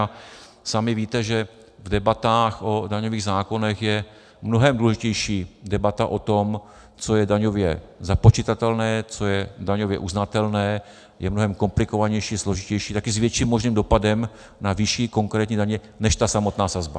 A sami víte, že v debatách o daňových zákonech je mnohem důležitější debata o tom, co je daňově započitatelné, co je daňově uznatelné, je mnohem komplikovanější, složitější, taky s větším možným dopadem na výši konkrétní daně, než ta samotná sazba.